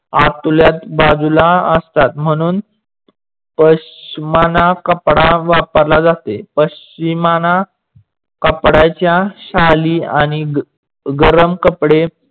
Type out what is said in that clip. आतल्याच बाजूला असतात. म्हणून पशमाणा कपडा वापरला जाते. पशचीमाणा कपड्याच्या शाली आणि गरम कपडे